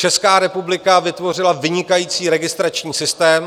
Česká republika vytvořila vynikající registrační systém.